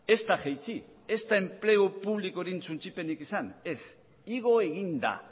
ez da jaitsi ez da enplegu publikoaren suntsipenik izan ez igo egin da